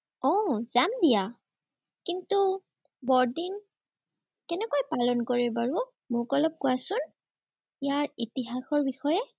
উম যাম দিয়া। কিন্তু, বৰদিন কেনেকৈ পালন কৰে বাৰু, মোক অলপ কোৱাচোন। ইয়াৰ ইতিহাসৰ বিষয়ে।